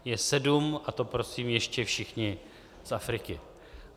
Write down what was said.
Je sedm - a to prosím ještě všichni z Afriky.